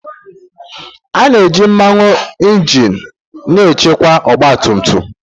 A na-eji mmanụ injin na-echekwa ọgbatumtum.